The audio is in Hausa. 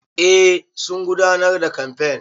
Eh sun gudanar da kamfen.